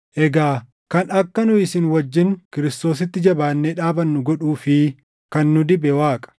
Egaa kan akka nu isin wajjin Kiristoositti jabaannee dhaabannu godhuu fi kan nu dibe Waaqa;